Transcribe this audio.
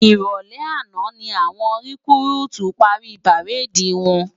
Iròlè àná lá wòn rikúrútú pári párédi wòn